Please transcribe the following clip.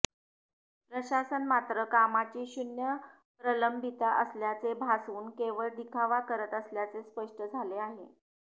प्रशासन मात्र कामाची शून्य प्रलंबिता असल्याचे भासवून केवळ दिखावा करत असल्याचे स्पष्ट झाले आहे